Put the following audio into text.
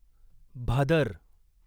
Bhadar